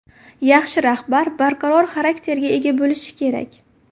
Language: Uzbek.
Yaxshi rahbar barqaror xarakterga ega bo‘lishi kerak.